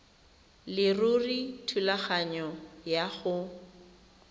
leruri thulaganyo ya go